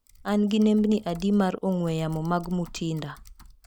An gi nembni adi mar ong'we yamo mag Mutinda?